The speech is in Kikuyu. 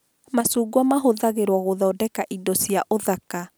Macungwa mahũthagĩrwo gũthondeka indo cia ũthaka